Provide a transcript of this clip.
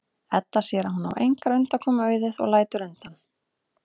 Edda sér að hún á engrar undankomu auðið og lætur undan.